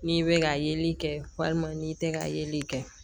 N'i bɛ ka yeli kɛ walima n'i tɛ ka yeli kɛ